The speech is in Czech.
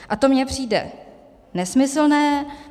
A to mi přijde nesmyslné.